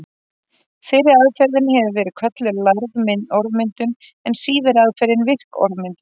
Fyrri aðferðin hefur verið kölluð lærð orðmyndun en síðari aðferðin virk orðmyndun.